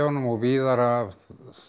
og víðar af